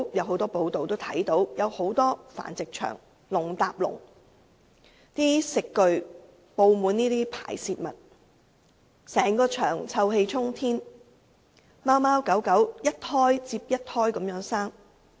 很多繁殖場內鐵籠上有鐵籠，食具布滿排泄物，整個場地臭氣沖天，而貓狗則一胎接一胎的生育。